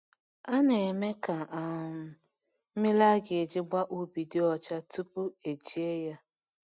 A na-eme ka um mmiri a ga-eji gbaa ubi dị ọcha tupu eji ya.